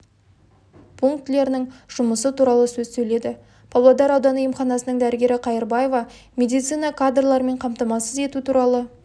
пунктілерінің жұмысы туралы сөз сөйледі павлодар ауданы емханасының дәрігері қайырбаева медицина кадрларымен қамтамасыз ету туралы